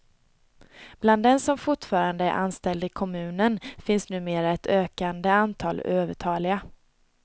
Bland dem som fortfarande är anställda i kommunen finns numera ett ökande antal övertaliga.